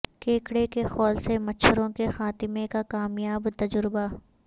کیکڑے کے خول سے مچھروں کے خاتمے کا کامیاب تجربہ